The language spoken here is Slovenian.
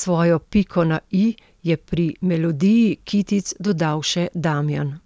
svojo piko na i je pri melodiji kitic dodal še Damjan.